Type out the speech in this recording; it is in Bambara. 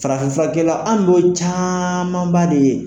Farafin furakɛla, an dun y'olu camanba de ye.